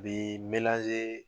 Bi